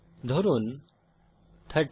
ধরুন 30